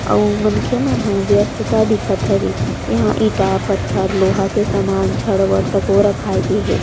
आऊ मनखे मन ह व्यस्तता दिखत हवे इहाँ इंटा पत्थर लोहा के सामान छड़ वड़ तको रखाये गए हे।